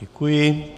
Děkuji.